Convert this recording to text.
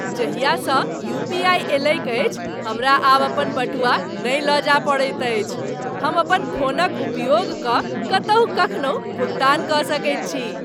जाहियासँ UPI अयलैक अछि, हमरा आब अपन बटुआ नहि लऽ जाय पड़ैत अछि। हम अपन फोनक उपयोग कऽ कतहु कखनहु भुगतान कऽ सकैत छी।